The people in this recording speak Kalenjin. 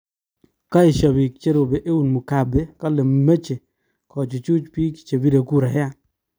kaesha biik che ropee eun mugabe kale meche kochuchuch biik chebire kurayat